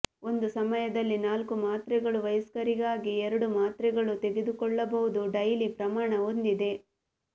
ಒಂದು ಸಮಯದಲ್ಲಿ ನಾಲ್ಕು ಮಾತ್ರೆಗಳು ವಯಸ್ಕರಿಗಾಗಿ ಎರಡು ಮಾತ್ರೆಗಳು ತೆಗೆದುಕೊಳ್ಳಬಹುದು ಡೈಲಿ ಪ್ರಮಾಣ ಹೊಂದಿದೆ